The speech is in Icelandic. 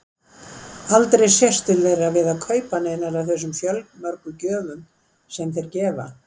Aldrei sést til þeirra við að kaupa neinar af þeim fjölmörgu gjöfum sem þeir gefa.